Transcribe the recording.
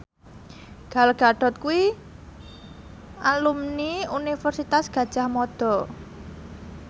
Gal Gadot kuwi alumni Universitas Gadjah Mada